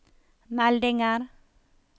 meldinger